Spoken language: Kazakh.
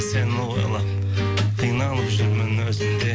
сені ойлап қиналып жүрмін өзім де